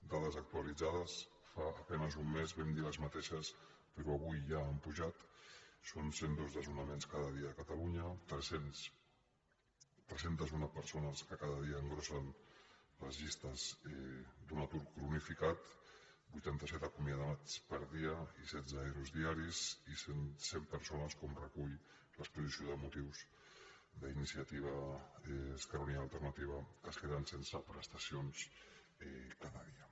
dades actualitzades fa a penes un mes vam dir les mateixes però avui ja han pujat són cent i dos desnonaments cada dia a catalunya tres cents i un persones que cada dia engrosseixen les llistes d’un atur cronificat vuitanta set acomiadats per dia i setze ero diaris i cent persones com recull l’exposició de motius d’iniciativa esquerra unida i alternativa que es queden sense prestacions cada dia